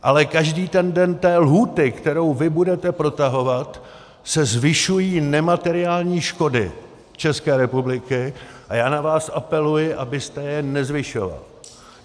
Ale každý den té lhůty, kterou vy budete protahovat, se zvyšují nemateriální škody České republiky a já na vás apeluji, abyste je nezvyšoval.